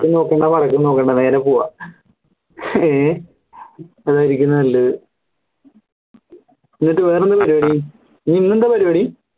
തെക്കു നോക്കണ്ട വടക്കു നോക്കണ്ട നേരെ പോവ്വാ ഏഹ് അതായിരിക്കും നല്ലത് എന്നിട്ട് വേറെന്ത പരിവടി ഇനി ഇന്ന്ന്താ പരിപാടി